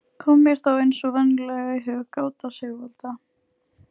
Kom mér þá eins og venjulega í hug gáta Sigvalda